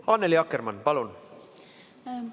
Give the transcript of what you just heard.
Annely Akkermann, palun!